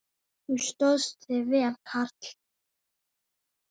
Þú stóðst þig vel, karl.